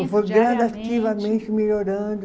diariamente? Foi gradativamente melhorando.